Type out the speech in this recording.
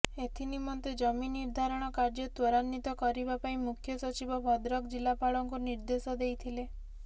ଏଥିନିମନ୍ତେ ଜମି ନିର୍ଧାରଣ କାର୍ଯ୍ୟ ତ୍ୱରାନ୍ବିତ କରିବା ପାଇଁ ମୁଖ୍ୟ ସଚିବ ଭଦ୍ରକ ଜିଲ୍ଲାପାଳଙ୍କୁ ନିର୍ଦ୍ଦେଶ ଦେଇଥିଲେ